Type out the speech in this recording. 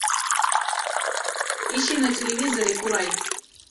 ищи на телевизоре курай